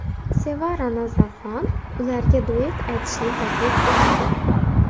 Sevara Nazarxon ularga duet aytishni taklif etdi.